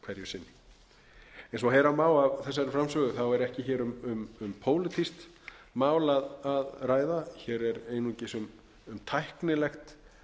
sinni eins og heyra má af þessari framsögu er ekki um pólitískt mál að ræða hér er einungis sum tæknilegt